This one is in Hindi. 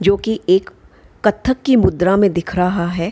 जो की एक कत्थक की मुद्रा में दिख रहा है।